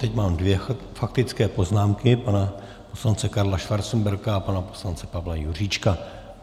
Teď mám dvě faktické poznámky - pana poslance Karla Schwarzenberga a pana poslance Pavla Juříčka.